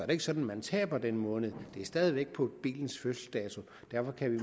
ikke sådan at man taber den måned det er stadig væk på bilens fødselsdato derfor kan vi